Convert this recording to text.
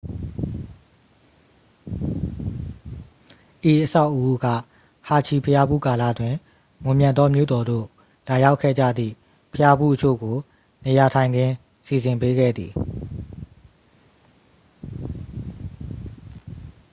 ဤအဆောက်အဦးက ဟာဂျီဘုရားဖူးကာလတွင် မွန်မြတ်သောမြို့တော်သို့ လာရောက်ခဲ့ကြသည့် ဘုရားဖူးအချို့ကို နေရာထိုင်ခင်း စီစဉ်ပေးခဲ့သည်